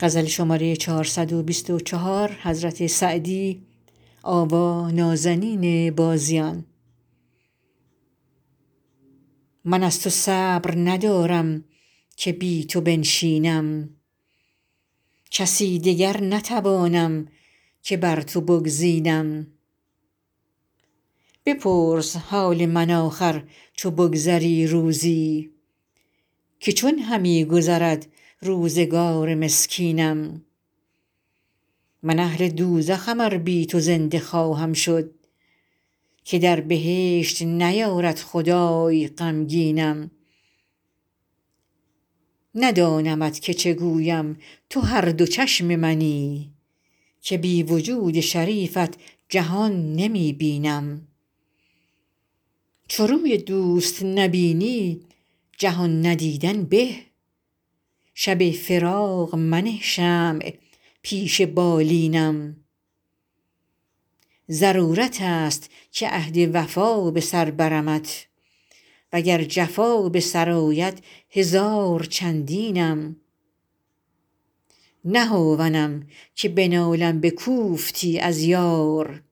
من از تو صبر ندارم که بی تو بنشینم کسی دگر نتوانم که بر تو بگزینم بپرس حال من آخر چو بگذری روزی که چون همی گذرد روزگار مسکینم من اهل دوزخم ار بی تو زنده خواهم شد که در بهشت نیارد خدای غمگینم ندانمت که چه گویم تو هر دو چشم منی که بی وجود شریفت جهان نمی بینم چو روی دوست نبینی جهان ندیدن به شب فراق منه شمع پیش بالینم ضرورت است که عهد وفا به سر برمت و گر جفا به سر آید هزار چندینم نه هاونم که بنالم به کوفتی از یار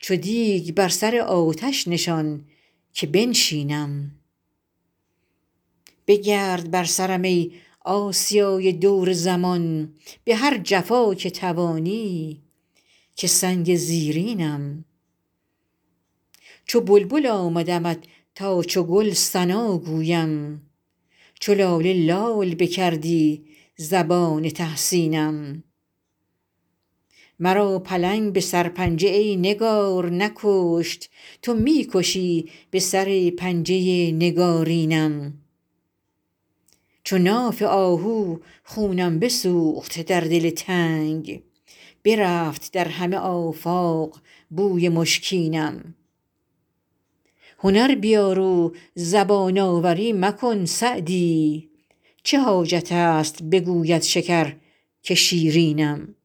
چو دیگ بر سر آتش نشان که بنشینم بگرد بر سرم ای آسیای دور زمان به هر جفا که توانی که سنگ زیرینم چو بلبل آمدمت تا چو گل ثنا گویم چو لاله لال بکردی زبان تحسینم مرا پلنگ به سرپنجه ای نگار نکشت تو می کشی به سر پنجه نگارینم چو ناف آهو خونم بسوخت در دل تنگ برفت در همه آفاق بوی مشکینم هنر بیار و زبان آوری مکن سعدی چه حاجت است بگوید شکر که شیرینم